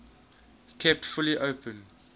kept fully open